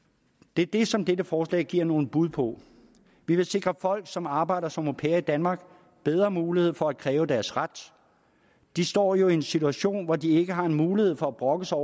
det er det som dette forslag giver nogle bud på vi vil sikre folk som arbejder som au pair i danmark bedre muligheder for at kræve deres ret de står jo i en situation hvor de ikke har en mulighed for at brokke sig